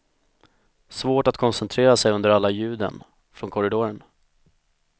Svårt att koncentrera sig under alla ljuden från korridoren.